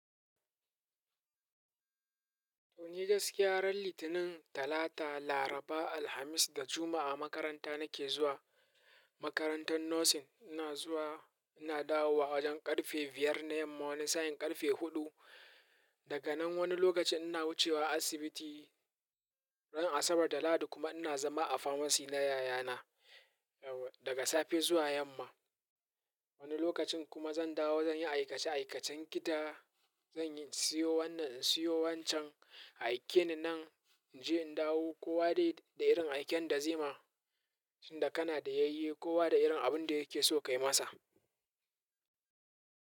To ni gaskiya ran Litinin, Talata, Laraba, Alhamis da Juma'a makaranta nake zuwa. Makarantar nursing ina zuwa, ina dawo wa wajen ƙarfe biyar na yamma, wani sa'in ƙarfe huɗu. Daga nan wani lokaci ina wucewa asibiti. Ran Asabar da Lahadi kuma ina zama a pharmacy na yayana, daga safe zuwa yamma. Wani lokacin kuma zan dawo zan yi aikace-aikacen gida. Zan yi siyo wannan in siyo wancan, aike ni nan in je in dawo. Kowa dai da irin aiken da zai ma, tunda kana da yayyi, kowa da irin abin da yake so kai masa.